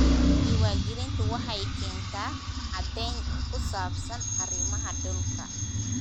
Diiwaangelintu waxay keentaa caddayn ku saabsan arrimaha dhulka.